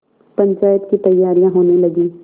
पंचायत की तैयारियाँ होने लगीं